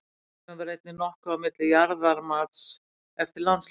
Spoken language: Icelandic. Misræmi var einnig nokkuð á milli jarðamats eftir landshlutum.